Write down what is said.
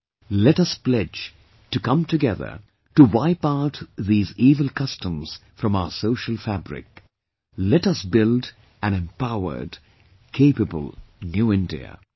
Come, let us pledge to come together to wipe out these evil customs from our social fabric... let us build an empowered, capable New India